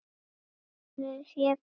Farið hefur fé betra.